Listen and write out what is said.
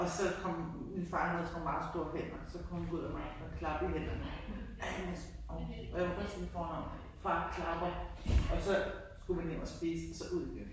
Og så kom min far han havde sådan nogle meget store hænder så kom ud om aftenen og klappede i hænderne Alice hov ja jeg må kun sige mit fornavn far klapper og så skulle man hjem og spise og så ud igen